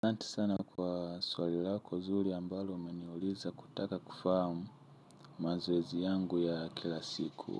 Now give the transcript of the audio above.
Santi sana kwa swalilako nzuri ambalo umeniuliza kutaka kufahamu mazoezi yangu ya kila siku.